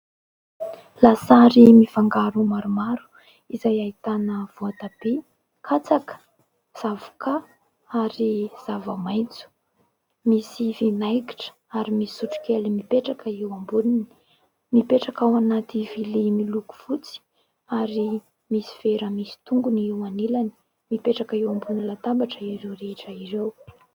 Lasary mifangaro maromaro izay ahitana voatabia, katsaka, zavoka ary zava-maitso ; misy vinaigitra ary misy sotrokely mipetraka eo amboniny ; mipetraka ao anaty vilia miloko fotsy ary misy vera misy tongony eo anilany. Mipetraka eo ambony latabatra ireo rehetra ireo.